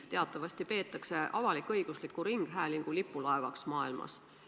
Teatavasti peetakse BBC-d avalik-õigusliku ringhäälingu lipulaevaks maailmas.